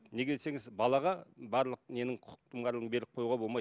неге десеңіз балаға барлық ненің құқықтың барлығын беріп қоюға болмайды